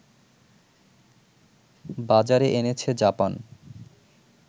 বাজারে এনেছে জাপান